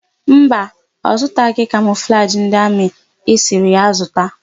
Mba, ọ zụtaghị kamọflajị ndị amị ị sịrị ya zụta.